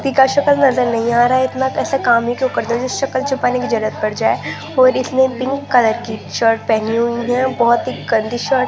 सकल नजर नही आ रहा है इतना कैसा काम क्यो करते हैं सकल छुपाने की जरूरत पड़ जाये और इसमें पिंक कलर की शर्ट पहनी हुई है बहुत ही गंदी शर्ट --